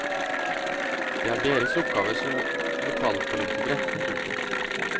Det er deres oppgave som lokalpolitikere. punktum